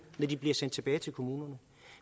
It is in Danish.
når de bliver sendt tilbage til kommunerne